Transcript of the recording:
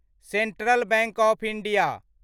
central Bank of India